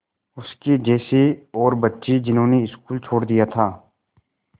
उसके जैसे और बच्चे जिन्होंने स्कूल छोड़ दिया था